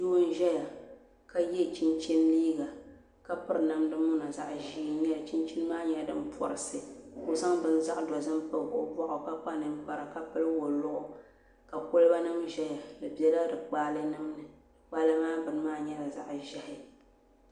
Doo n ʒɛya ka yɛ chinchin liiga ka piri namdi muna zaɣ ʒiɛ n nyɛli chinchin maa nyɛla din porisi ka o zaŋ bini zaɣ dozim kpabi o boɣu ka kpa ninkpara ka pili woliɣi ka kolba nim ʒɛya di biɛla di kpaalɛ nim ni kpaalɛ nim ŋo maa nyɛla zaɣ ʒiɛhi